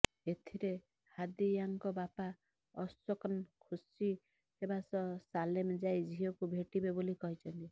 ଏଥିରେ ହାଦିୟାଙ୍କ ବାପା ଅଶୋକନ୍ ଖୁସି ହେବା ସହ ସାଲେମ ଯାଇ ଝିଅକୁ ଭେଟିବେ ବୋଲି କହିଛନ୍ତି